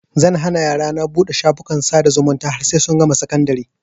Zan hana yarana buɗe shafukan sada zumunta har sai sun gama sakandari